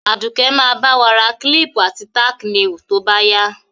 Àdùké ba ba wa ra clip àti tack nails to báyá